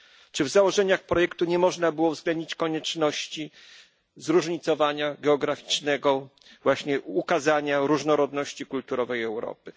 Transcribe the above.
Czy w założeniach projektu nie można było uwzględnić konieczności zróżnicowania geograficznego, właśnie ukazania różnorodności kulturowej Europy?